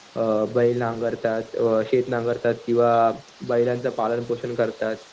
अ बैल नांगरता, शेत नांगरता किंवा बैलांचं पालनपोषण करतात.